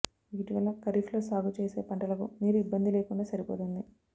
వీటి వల్ల ఖరీఫ్ లో సాగు చేసిన పంటలకు నీరు ఇబ్బంది లేకుండా సరిపోతుంది